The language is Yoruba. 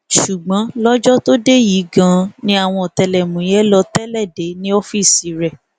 ṣùgbọn lọjọ tó dé yìí ganan ni àwọn ọtẹlẹmúyẹ lọọ tẹlẹ dé e ní ọọfíìsì rẹ